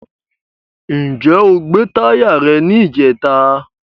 Ǹjẹ́ gbé táyà rẹ ní ìjẹta?